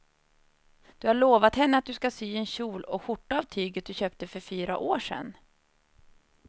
Du har lovat henne att du ska sy en kjol och skjorta av tyget du köpte för fyra år sedan.